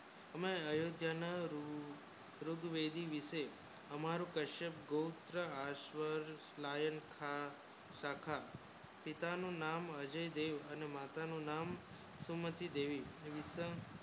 હમે એ જ્યાંને ઋત્રેવીડી વિષે હમારું કશ્યપ ગોત્ર અશ્વર લાયન થા સખા પિતા નું નામ અજય દેવ અને માતા નું નામ ફૂલમતી દેવી